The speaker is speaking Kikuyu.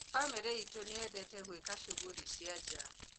Bamĩrĩ itũ nĩyendete gũeka cũgũri cia nja